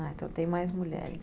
Ah, então tem mais mulheres.